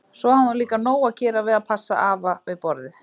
Svo hafði hún líka nóg að gera við að passa afa við borðið.